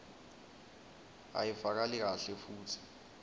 ayivakali kahle futsi